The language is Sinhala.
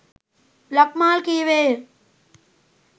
ලක්මාල් කීවේය.